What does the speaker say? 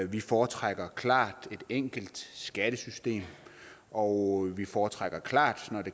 vi foretrækker klart et enkelt skattesystem og vi foretrækker klart når